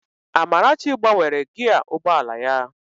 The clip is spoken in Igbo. Amarachi gbanwere gịaa ụgbọ ala ya